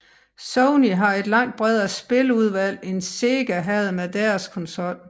Sony havde et langt bredere spiludvalg end Sega havde med deres konsol